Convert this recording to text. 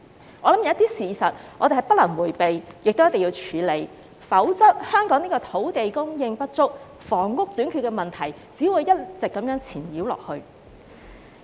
我相信有些事實是不能迴避的，亦一定要處理，否則，香港土地供應不足、房屋短缺的問題只會一直纏繞下去。